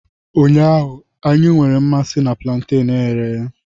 Ụnyaahụ, anyị nwere mmasị na plantenu e ghere eghe.